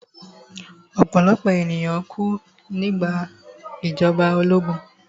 Ọ̀pọ̀lọ̀pọ̀ ènìyàn kú nígbà ìjọba ológun